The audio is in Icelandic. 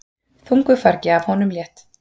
Þungu fargi af honum létt.